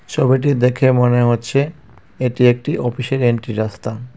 ছবিটি দেখে মনে হচ্ছে এটি একটি অফিসের এন্ট্রি রাস্তা.